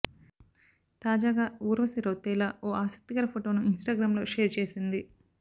తాజాగా ఊర్వశి రౌతేలా ఓ ఆసక్తికర ఫోటోని ఇన్ స్టాగ్రమ్ లో షేర్ చేసింది